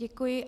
Děkuji.